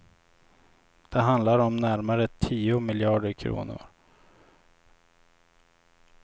Det handlar om närmare tio miljarder kronor.